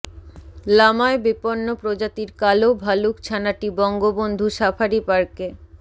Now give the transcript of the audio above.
লামায় বিপন্ন প্রজাতির কালো ভালুক ছানাটি বঙ্গবন্ধু সাফারি পার্কে